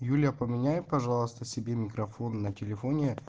юлия поменяй пожалуйста себе микрофон на телефоне